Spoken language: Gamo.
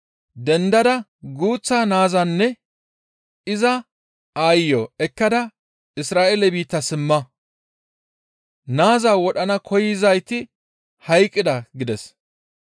«Dendada guuththa Naazanne iza aayiyo ekkada Isra7eele biitta simma; Naaza wodhana koyzayti hayqqida» gides.